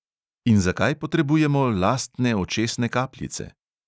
In zakaj potrebujemo lastne očesne kapljice?